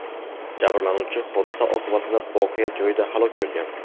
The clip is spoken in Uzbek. Jabrlanuvchi hodisa oqibatida voqea joyida halok bo‘lgan.